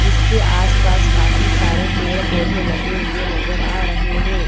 जिसके आस पास काफी सारे पेड़ पौधे लगे हुए नजर आ रहे हैं।